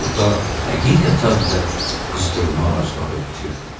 Burada həqiqətən də qızdırma ağacları bitirdi.